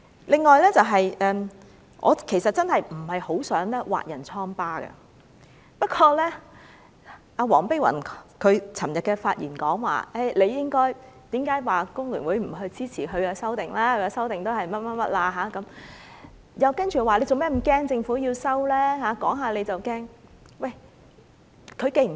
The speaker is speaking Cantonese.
另外，我真的不想挖人瘡疤，不過，黃碧雲議員昨天發言時，問工聯會為何不支持她的修訂建議，那修訂只是怎樣怎樣，接着又問為何要怕政府撤回《條例草案》，政府說說就要怕。